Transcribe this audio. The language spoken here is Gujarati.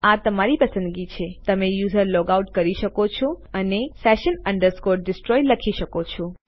આ તમારી પસંદગી છે તમે યુઝર લૉગ આઉટ કરી શકો છો અને session destroy લખી શકો છો